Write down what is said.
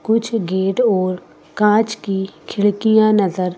कुछ गेट और काँच की खिड़कियाँ नजर --